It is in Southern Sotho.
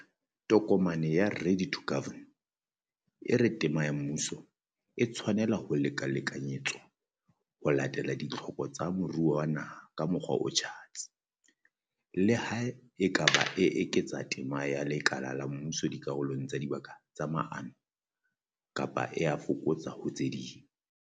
Tokomane ya Ready to Govern, e re tema ya mmuso, e tshwanela ho lekalekanyetswa ho latela ditlhoko tsa moruo wa naha ka mokgwa o tjhatsi. Le ha e ka ba e eketsa tema ya lekala la mmuso dikarolong tsa dibaka tsa maano, kapa e a e fokotsa ho tse ding.